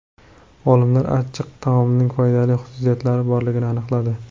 Olimlar achchiq taomlarning foydali xususiyatlari borligini aniqladi.